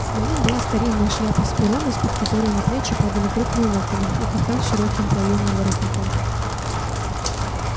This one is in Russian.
на нем была старинная шляпа с пером из-под которой на плечи падали крупные локоны и кафтан с широким плоёным воротником